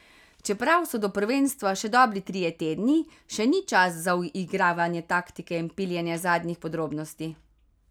Čeprav so do prvenstva še dobri trije tedni, še ni čas za uigravanje taktike in piljenje zadnjih podrobnosti.